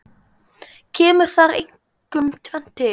Kemur þar einkum tvennt til.